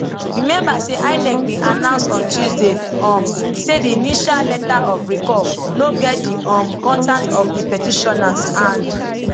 remember say inec bin announceon tuesday um say di initial letter of recall no get di um contacts of di petitioners and